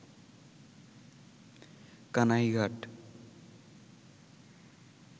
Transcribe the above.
Kanaighat